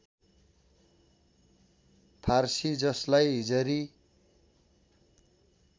फारसी ‎जसलाई हिजरी